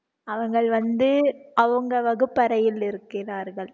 அவர்கள் வந்து அவங்க வகுப்பறையில் இருக்கிறார்கள்